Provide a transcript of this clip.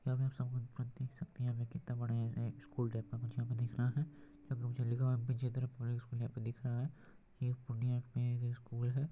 यहाँ पर देख सकते हैं यहाँ पर कितने बड़े एक स्कूल टाइप का मतलब दिख रहा है लिखा हुआ बीजेन्द्र पब्लिक स्कूल यहाँ पे दिख रहा है यह एक पूर्णिया की यहाँ पे स्कूल है ।